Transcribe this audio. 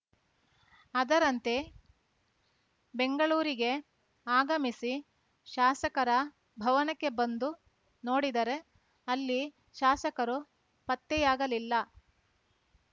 ಅದರಂತೆ ಬೆಂಗಳೂರಿಗೆ ಆಗಮಿಸಿ ಶಾಸಕರ ಭವನಕ್ಕೆ ಬಂದು ನೋಡಿದರೆ ಅಲ್ಲಿ ಶಾಸಕರು ಪತ್ತೆಯಾಗಲಿಲ್ಲ